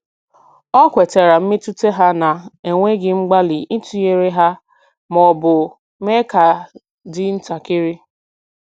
O kwetara mmetụta ha na-enweghị mgbalị ịtụnyere ha ma ọ bụ mee ka dị ntakịrị.